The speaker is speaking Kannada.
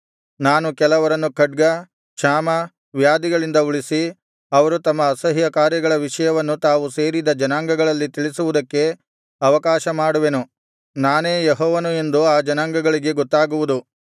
ನಾನು ಕೆಲವರನ್ನು ಖಡ್ಗ ಕ್ಷಾಮ ವ್ಯಾಧಿಗಳಿಂದ ಉಳಿಸಿ ಅವರು ತಮ್ಮ ಅಸಹ್ಯ ಕಾರ್ಯಗಳ ವಿಷಯವನ್ನು ತಾವು ಸೇರಿದ ಜನಾಂಗಗಳಲ್ಲಿ ತಿಳಿಸುವುದಕ್ಕೆ ಅವಕಾಶ ಮಾಡುವೆನು ನಾನೇ ಯೆಹೋವನು ಎಂದು ಆ ಜನಾಂಗಗಳಿಗೂ ಗೊತ್ತಾಗುವುದು